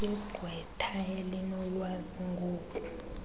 igqwetha elinolwazi ngoku